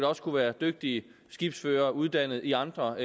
også kunne være dygtige skibsførere uddannet i andre